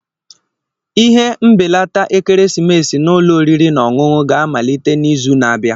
Ire mbelata ekeresimesi na ụlọ oriri na ọṅụṅụ ga-amalite n'izu na-abịa